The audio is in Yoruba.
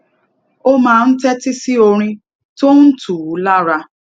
ó máa ń tétí sí orin tó ń tù ú lára